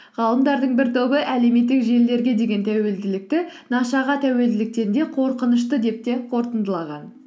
ғалымдардың бір тобы әлеуметтік желілерге деген тәуелділікті нашаға тәуелділіктен де қорқынышты деп те қорытындылаған